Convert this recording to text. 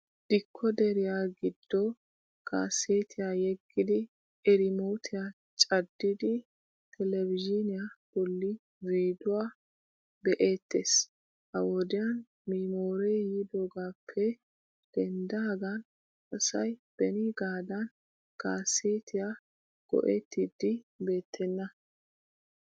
Dikkooderiyaa giddo kaaseetiyaa yeggidi irimootiya caddidi televizhiiniya bolli viiduwaa be"eettees. Ha wodiyan miimooree yiidoogaappe denddaagan asay beniigaadan kaaseetiyaa go'ettiiddi beettena.